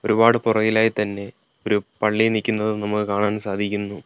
ഒരുപാട് പുറകിലായി തന്നെ ഒരു പള്ളി നിക്കുന്നതും നമുക്ക് കാണാൻ സാധിക്കുന്നു.